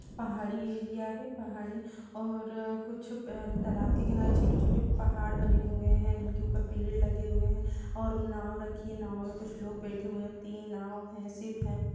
पहाड़ी एरिया हैं पहाड़ी और कुछ तालाब के किनारे छोटे छोटे पहाड़ बने हुए जिनके ऊपर पेड़ लगे हुए है और नाव रखी है नांव में कुछ लोग बैठे है तीन नांव हैं सिप हैं।